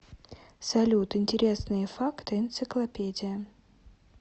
салют интересные факты энциклопедия